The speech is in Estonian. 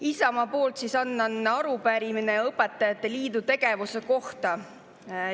Isamaa poolt annan üle arupärimise õpetajate liidu tegevuse kohta.